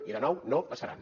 i de nou no passaran